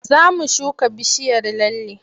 Za mu shuga bishiyar lalle.